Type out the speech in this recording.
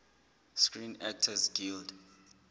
screen actors guild